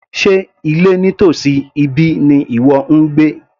Sé ilé nítòsí ibí ni ìwọ ń gbé